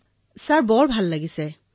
মহোদয় খুউব ভাল লাগিছে